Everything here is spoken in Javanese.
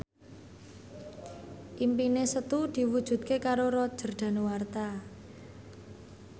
impine Setu diwujudke karo Roger Danuarta